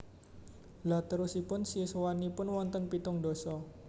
Lha terosipun siswanipun wonten pitung ndasa